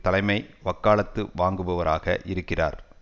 தலைமை வக்காலத்து வாங்குபவராக இருக்கிறார்